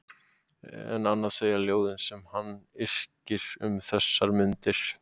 En annað segja ljóðin sem hann yrkir um þessar mundir